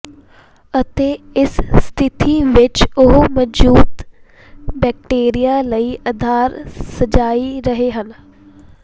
ਅਤੇ ਇਸ ਸਥਿਤੀ ਵਿਚ ਉਹ ਮੌਜੂਦ ਬੈਕਟੀਰੀਆ ਲਈ ਆਧਾਰ ਸਿਜਾਈ ਰਹੇ ਹਨ